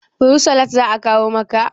fursalk za a kawo maka?